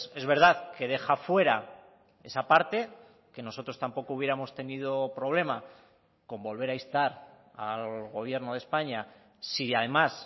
es verdad que deja fuera esa parte que nosotros tampoco hubiéramos tenido problema con volver a instar al gobierno de españa si además